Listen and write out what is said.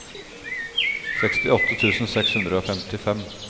sekstiåtte tusen seks hundre og femtifem